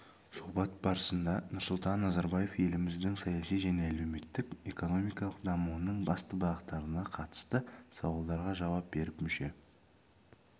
сұхбат барысында нұрсұлтан назарбаев еліміздің саяси және әлеуметтік-экономикалық дамуының басты бағыттарына қатысты сауалдарға жауап беріп мүше